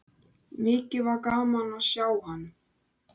Mikið var gaman að sjá hann.